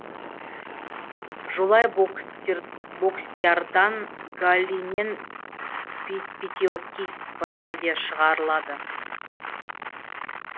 жолай бокситтардан галлий мен пятиокись ванадия шығарылады